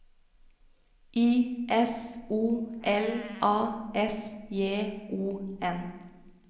I S O L A S J O N